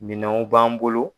Minɛnw b'an bolo.